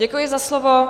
Děkuji za slovo.